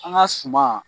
An ka suma